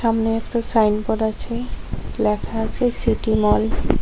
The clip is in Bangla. সামনে একটা সাইনবোর্ড আছে লেখা আছে সিটি মল ।